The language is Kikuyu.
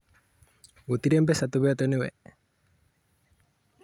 Gũtirĩ mbeca tũneetwo nĩye